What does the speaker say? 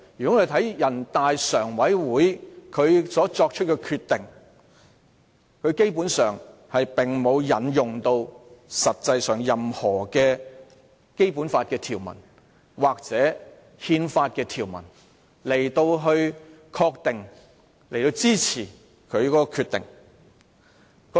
我們看人大常委會作出的決定，基本上並沒有引用任何《基本法》或憲法的條文，作為其憲制理據或法律基礎。